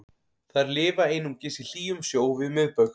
þær lifa einungis í hlýjum sjó við miðbaug